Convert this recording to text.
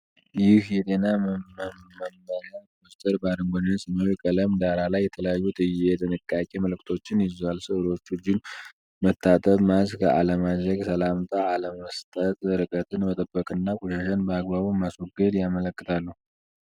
ይህ የጤና መመሪያ ፖስተር በአረንጓዴና ሰማያዊ ቀለም ዳራ ላይ የተለያዩ የጥንቃቄ መልዕክቶችን ይዟል። ሥዕሎቹ እጅን መታጠብ፣ ማስክ አለማድረግ፣ ሰላምታ አለመስጠት፣ ርቀትን መጠበቅና ቆሻሻን በአግባቡ ማስወገድን ያመለክታሉ።